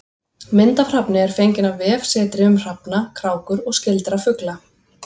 Mynd af hrafni er fengin af vefsetri um hrafna, krákur og skyldra fugla.